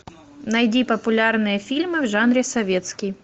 найди популярные фильмы в жанре советский